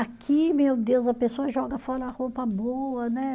Aqui, meu Deus, a pessoa joga fora a roupa boa, né